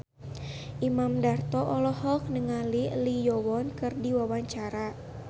Imam Darto olohok ningali Lee Yo Won keur diwawancara